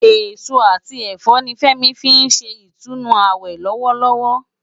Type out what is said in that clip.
Esó ati ẹfọ ni Femi fin ṣé itúnú áwè lòwòlòwò